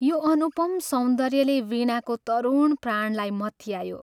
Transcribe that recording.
यो अनुपम सौन्दर्यले वीणाको तरुण प्राणलाई मत्यायो।